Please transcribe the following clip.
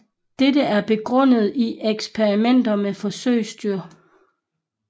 Dette er begrundet i eksperimenter med forsøgsdyr